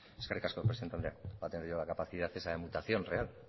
eskerrik asko presidente andrea voy a tener yo la capacidad esa de mutación real